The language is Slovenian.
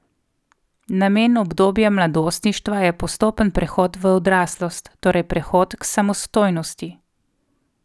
Namen obdobja mladostništva je postopen prehod v odraslost, torej prehod k samostojnosti.